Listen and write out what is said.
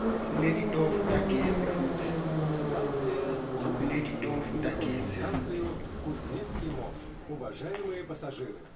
sinetitofu tagezi futsi